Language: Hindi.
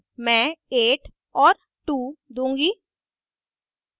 मैं 8 और 2 दूंगी